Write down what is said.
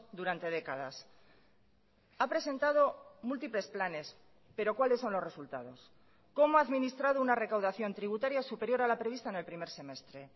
durante décadas ha presentado múltiples planes pero cuáles son los resultados cómo ha administrado una recaudación tributaria superior a la prevista en el primer semestre